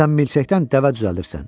Sən milçəkdən dəvə düzəldirsən.